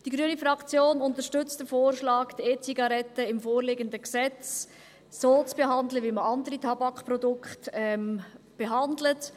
Die grüne Fraktion unterstützt den Vorschlag, die E-Zigaretten im vorliegenden Gesetz so zu behandeln, wie man andere Tabakprodukte behandelt.